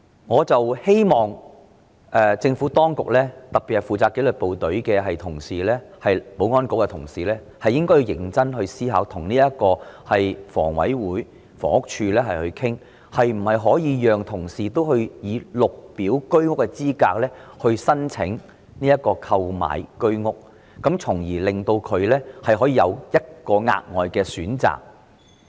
我希望政府當局特別是負責紀律部隊的保安局同事認真思考，並與香港房屋委員會和房屋署討論可否讓紀律部隊人員以綠表資格申請購買居者有其屋計劃單位，從而為他們提供額外選擇。